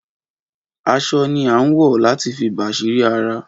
Aṣọ ni a ń wọ láti fi bàsírí ara